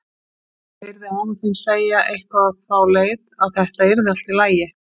Ég heyrði afa þinn segja eitthvað á þá leið, að þetta yrði allt í lagi.